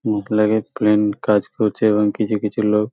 মুখ লাগায় কাজ করছে এবং কিছু কিছু লোক--